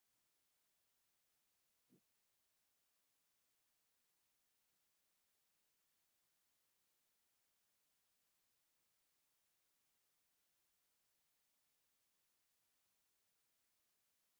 ካብ ቅርስታት ኢትዮጵያ ሓደ እዩ እቶ ጎታት እዚኦም ። ኣብ ኢንስኮ ድማ ተመዝጊቡ እዩ ። እዞም ጎታት ኣበይ ከባቢ ኢትዮጵያ ይርከብ ?